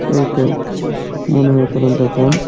এই তো মনে হয় কোনো দোকান।